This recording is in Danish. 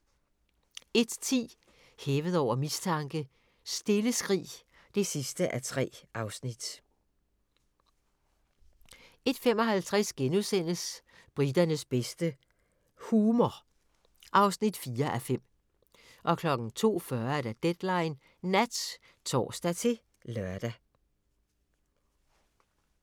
01:10: Hævet over mistanke: Stille skrig (3:3) 01:55: Briternes bedste - humor (4:5)* 02:40: Deadline Nat (tor-lør)